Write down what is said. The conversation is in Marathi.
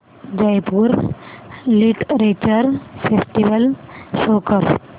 जयपुर लिटरेचर फेस्टिवल शो कर